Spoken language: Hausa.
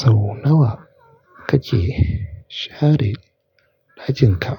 Sau nawa kake share ɗakinka?